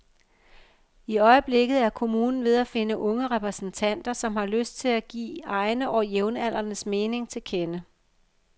I øjeblikket er kommunen ved at finde unge repræsentanter, som har lyst til at give egne og jævnaldrendes mening til kende.